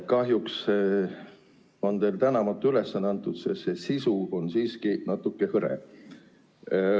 Kahjuks on teile tänamatu ülesanne antud, sest see sisu on siiski natuke hõre.